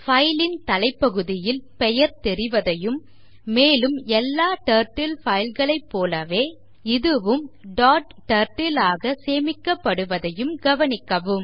file ன் தலைப்பகுதியில் பெயர் தெரிவதையும் மேலும் எல்லா டர்ட்டில் files ஐப் போலவே இதுவும் டாட் turtle ஆக சேமிக்கப்படுவதையும் கவனிக்கவும்